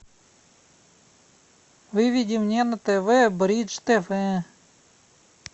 выведи мне на тв бридж тв